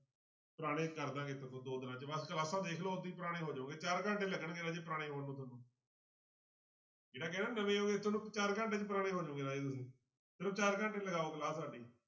ਪੁਰਾਣੇ ਕਰ ਦੇਵਾਂਗੇ ਦੋ ਦਿਨਾਂ 'ਚ ਬਸ ਕਲਾਸਾਂ ਦੇਖ ਲਓ ਓਦਾਂ ਹੀ ਪੁਰਾਣੇ ਹੋ ਜਾਓਗੇ ਚਾਰ ਘੰਟੇ ਲੱਗਣਗੇ ਰਾਜੇ ਪੁਰਾਣੇ ਹੋਣ ਨੂੰ ਤੁਹਾਨੂੰ ਜਿਹੜਾ ਕਹਿੰਦਾ ਨਵੇਂ ਹੋ ਤੁਹਾਨੂੰ ਚਾਰ ਘੰਟੇ 'ਚ ਪੁਰਾਣੇ ਹੋ ਜਾਓਗੇ ਰਾਜੇ ਤੁਸੀਂ ਚਾਰ ਘੰਟੇ ਲਗਾਓ class ਸਾਡੀ